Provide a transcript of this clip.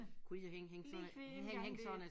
Kunne de da hænge hænge sådan et hænge hænge sådan et